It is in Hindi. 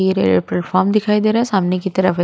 ये रेल्वे पलटेफ्रॉम दिखाई दे रहा हैं सामने की तरफ--